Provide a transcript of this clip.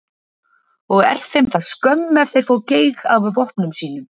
Og er þeim það skömm ef þeir fá geig af vopnum sínum.